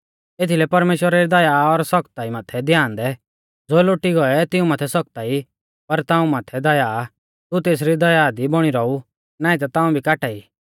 एथीलै परमेश्‍वरा री दया और सखताई माथै ध्यान दै ज़ो लोटी गौऐ तिऊं माथै सखताई पर ताऊं माथै दया तू तेसरी दया दी बौणी रौउ नाईं ता ताऊं भी काटाई